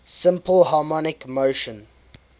simple harmonic motion